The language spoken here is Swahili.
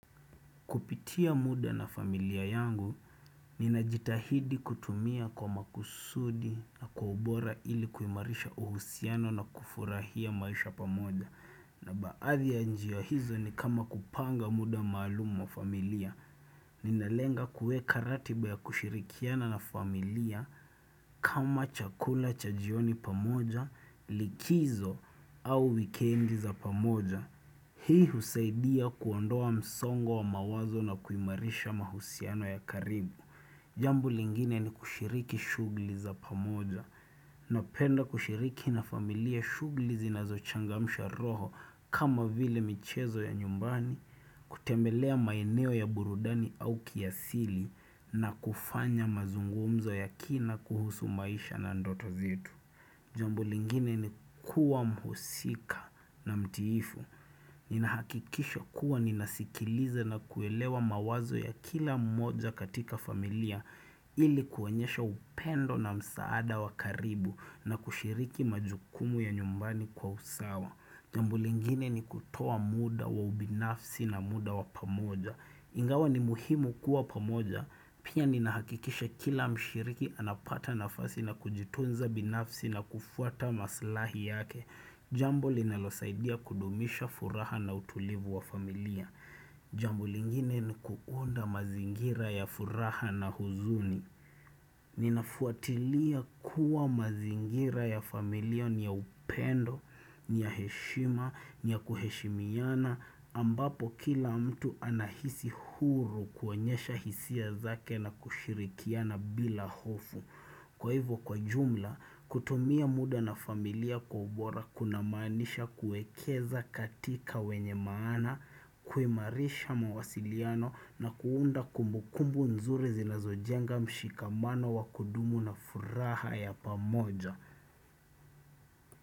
Kupitia muda na familia yangu, ninajitahidi kutumia kwa makusudi na kwa ubora ili kuimarisha uhusiano na kufurahia maisha pamoja. Na baadhi ya njia hizo ni kama kupanga muda maalumu mwa familia, ninalenga kuweka ratiba ya kushirikiana na familia kama chakula cha jioni pamoja, likizo au wikendi za pamoja. Hii husaidia kuondoa msongo wa mawazo na kuimarisha mahusiano ya karibu. Jambo lingine ni kushiriki shughuli za pamoja. Napenda kushiriki na familia shughuli zinazo changamsha roho kama vile michezo ya nyumbani, kutembelea maeneo ya burudani au kiasili na kufanya mazungumzo ya kina kuhusu maisha na ndoto zetu. Jambo lingine ni kuwa mhusika na mtiifu. Ninahakikisha kuwa ninasikiliza na kuelewa mawazo ya kila mmoja katika familia ili kuonyosha upendo na msaada wakaribu na kushiriki majukumu ya nyumbani kwa usawa. Jambo lingine ni kutoa muda wa ubinafsi na muda wa pamoja. Ingawa ni muhimu kuwa pamoja, pia ni nahakikisha kila mshiriki anapata nafasi na kujitunza binafsi na kufuata maslahi yake. Jambo linalo saidia kudumisha furaha na utulivu wa familia. Jambo lingine ni kuunda mazingira ya furaha na huzuni. Ninafuatilia kuwa mazingira ya familia niya upendo, niya heshima, niya kuheshimiana. Ambapo kila mtu anahisi huru kuonyesha hisia zake na kushirikiana bila hofu. Kwa hivyo kwa jumla, kutumia muda na familia kwa ubora kuna maanisha kuwekeza katika wenye maana, kuimarisha mawasiliano na kuunda kumbukumbu nzuri zinazojenga mshikamano wa kudumu na furaha ya pamoja.